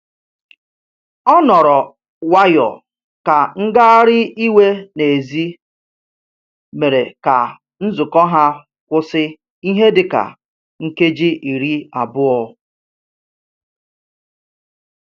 Ọ nọrọ nwayọ ka ngagharị iwe n'èzí mere ka nzukọ ha kwụsị ihe dị ka nkeji iri abụọ